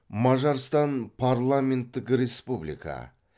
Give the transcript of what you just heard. мажарстан парламенттік республика